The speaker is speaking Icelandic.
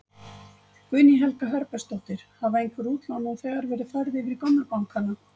Guðný Helga Herbertsdóttir: Hafa einhver útlán nú þegar verið færð yfir í gömlu bankanna?